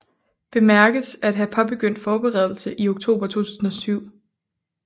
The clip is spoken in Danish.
Bemærkes at have påbegyndt forberedelse i oktober 2007